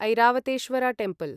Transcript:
Airavatesvara temple